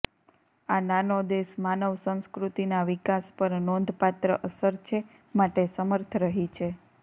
આ નાનો દેશ માનવ સંસ્કૃતિના વિકાસ પર નોંધપાત્ર અસર છે માટે સમર્થ રહી છે